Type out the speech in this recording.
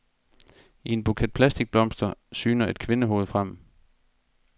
I en buket plastikblomster syner et kvindehoved frem.